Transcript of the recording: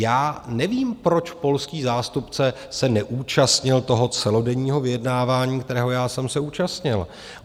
Já nevím, proč polský zástupce se neúčastnil toho celodenního vyjednávání, kterého já jsem se účastnil.